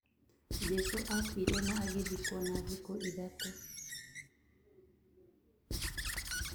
Jesũ akuire na akĩriũka thutha wa thikũ ithatũ